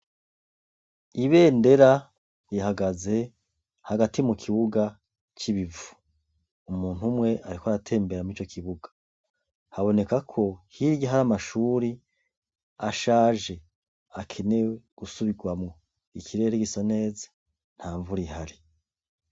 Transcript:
Ibendera rihagaze hagati mu kibuga c'ibivu, umuntu umwe ariko aratembera mur'ico kibuga haboneka ko hirya hari amashuri ashaje akenewe gusubirwamwo, ikirere gisa neza nta mvura ihari.